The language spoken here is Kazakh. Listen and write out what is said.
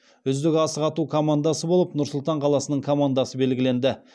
үздік асық ату командасы болып нұр сұлтан қаласының командасы белгіленді